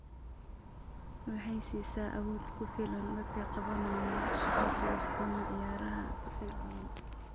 Waxay siisaa awood ku filan dadka qabanaya shaqo culus ama ciyaaraha firfircoon.